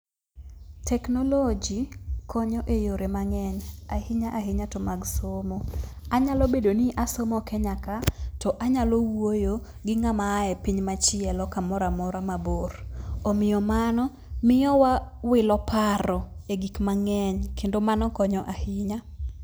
Technology konyo eyore mang'eny ahinya ahinya to mag somo. Anyalo bedo ni asomo kenya ka to anyalo wuoyo gi ngama a e piny machielo kamoramora mabor. Omiyo mano wamiyo wawilo paro e gik mang'eny kendo mano konyo ahinya.